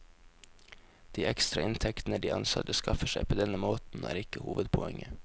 De ekstra inntektene de ansatte skaffer seg på denne måten, er ikke hovedpoenget.